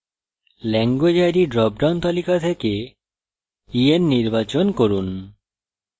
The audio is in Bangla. language id ড্রপডাউন তালিকা থেকে en নির্বাচন করুন